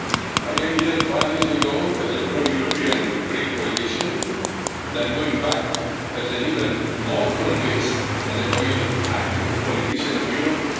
I came here five years ago as a pro-European Greek politician, and I'm going back as an even more convinced and committed active politician of Europe.